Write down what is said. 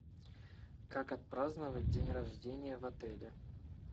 как отпраздновать день рождения в отеле